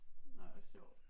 Nej hvor sjovt